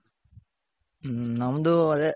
ಹ್ಮ.ನಮ್ದು ಅದೆ.